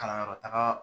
Kalanyɔrɔ taga